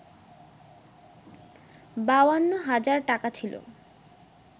৫২ হাজার টাকা ছিল